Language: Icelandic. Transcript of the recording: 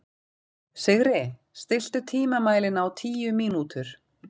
Sigri, stilltu tímamælinn á tíu mínútur.